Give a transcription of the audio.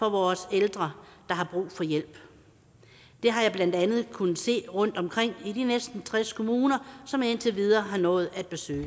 af vores ældre der har brug for hjælp det har jeg blandt andet kunnet se rundtomkring i de næsten tres kommuner som jeg indtil videre har nået at besøge